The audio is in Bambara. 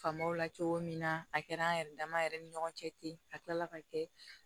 Faamaw la cogo min na a kɛra an yɛrɛ dama yɛrɛ ni ɲɔgɔn cɛ ten a kila la ka kɛ